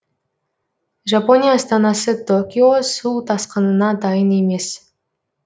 жапония астанасы токио су тасқынына дайын емес